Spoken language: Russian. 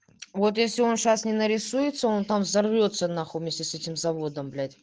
вот я сегодня сейчас не нарисуется он там взорвётся на хуй вместе с этим заводом блять